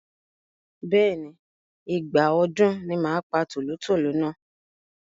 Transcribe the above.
Bẹ́ẹ̀ni, Ìgbà ọdún ni màá pa tòlótòló náà.